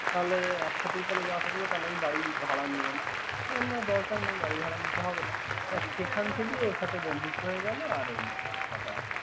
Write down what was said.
তাহলে এক সাথেই তাহলে যাওয়া আসা করো তাহলে বাড়ী ভাড়া নেব না। বললাম দরকার নেই বাড়ী ভাড় নিতে হবে না। সেখান থেকেই ওর সাথে বন্ধুত্ব হয়ে গেল আর কথা বার্তা।